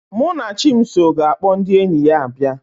Munachimso ga-akpọ ndị enyi ya abịa